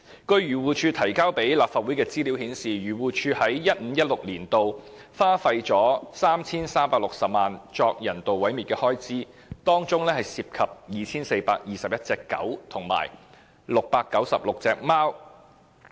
根據漁護署向立法會提交的資料顯示，漁護署在 2015-2016 年度花費 3,360 萬元作人道毀滅的開支，當中涉及 2,421 隻狗及696隻貓。